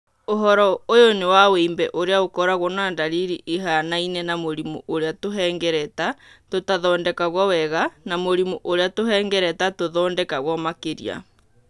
ũhoro ũyũ nĩ wa wimbe ũrĩa ũkoragũo na ndariri ihianaine na mũrimũ ũrĩa tũhengereta tũtathondekagwo wega na mũrimũ ũrĩa tũhengereta tũthondekagwo makĩria.